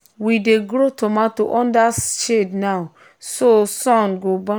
we dey grow tomato under shade now so sun no go burn am.